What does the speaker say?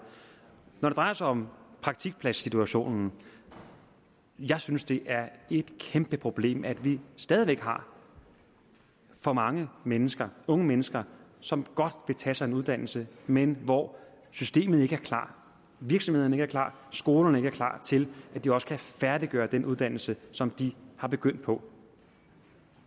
når det drejer sig om praktikpladssituationen jeg synes det er et kæmpeproblem at vi stadig væk har for mange mennesker unge mennesker som godt vil tage sig en uddannelse men hvor systemet ikke er klar virksomhederne ikke er klar skolerne ikke er klar til at de også kan færdiggøre den uddannelse som de er begyndt på